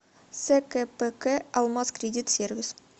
скпк алмазкредитсервис